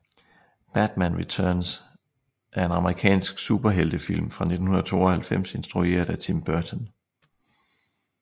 Batman Returns er en amerikansk superheltefilm fra 1992 instrueret af Tim Burton